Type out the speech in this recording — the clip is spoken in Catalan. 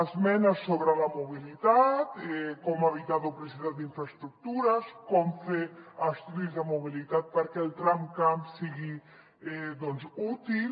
esmenes sobre la mobilitat com evitar duplicitat d’infraestructures com fer estudis de mobilitat perquè el tramcamp sigui útil